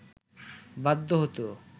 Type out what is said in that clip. বাধ্য হতো